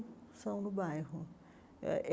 São no bairro eh eh.